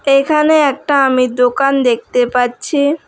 এখানে একটা আমি দোকান দেখতে পাচ্ছি।